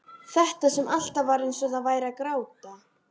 Þetta sem alltaf var eins og það væri að gráta.